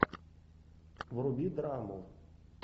вруби драму